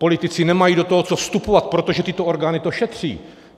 Politici nemají do toho co vstupovat, protože tyto orgány to šetří.